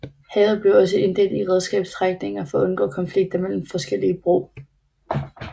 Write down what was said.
Havet blev også inddelt i redskabsstrækninger for at undgå konflikter mellem forskellige brug